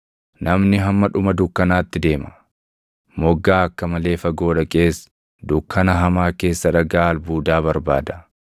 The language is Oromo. Namni hamma dhuma dukkanaatti deema; moggaa akka malee fagoo dhaqees, dukkana hamaa keessa dhagaa albuudaa barbaada.